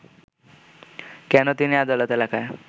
কেন তিনি আদালত এলাকায়